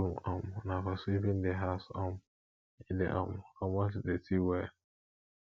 broom um na for sweeping di house um e dey um comot dirty well